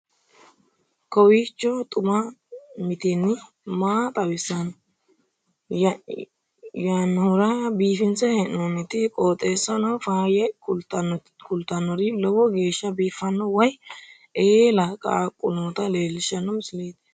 kowiicho xuma mtini maa xawissanno yaannohura biifinse haa'noonniti qooxeessano faayya kultannori lowo geeshsha biiffanno wayi eela qaaqu noota leellishshanno misileeti